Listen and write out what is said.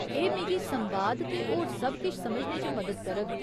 एह् मिगी संवाद ते होर सब किश समझने च मदद करग।